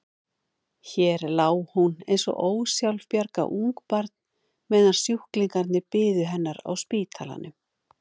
Hér lá hún eins og ósjálfbjarga ungbarn meðan sjúklingarnir biðu hennar á spítalanum.